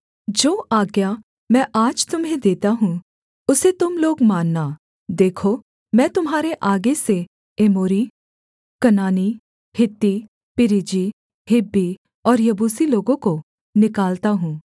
जो आज्ञा मैं आज तुम्हें देता हूँ उसे तुम लोग मानना देखो मैं तुम्हारे आगे से एमोरी कनानी हित्ती परिज्जी हिब्बी और यबूसी लोगों को निकालता हूँ